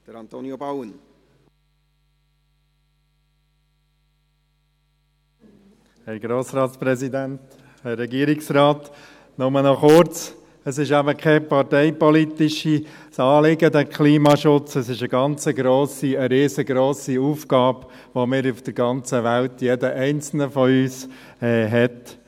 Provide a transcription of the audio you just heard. Nur noch kurz: Der Klimaschutz ist eben kein parteipolitisches Anliegen, sondern eine riesengrosse Aufgabe, die jeder einzelne von uns auf der ganzen Welt hat.